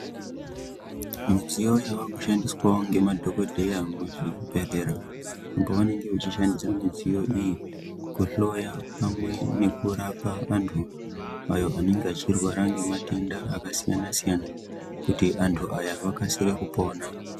Midziyo yava kushandiswawo ngemadhokodheya muzvibhedhlera uko vanenge veishandisa mudziyo iyi kuhloya pamwe nekurapa vantu avo vanenge vechirwara ngematenda akasiyana-siyana kuti antu aya akasire kupona.